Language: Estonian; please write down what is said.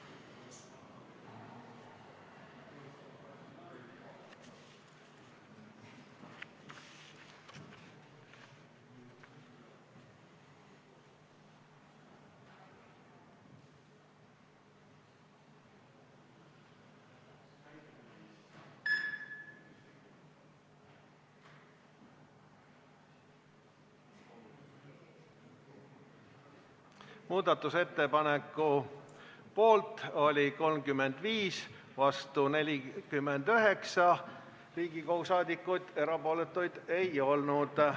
Hääletustulemused Muudatusettepaneku poolt oli 35 ja vastu 49 Riigikogu liiget, erapooletuid ei olnud.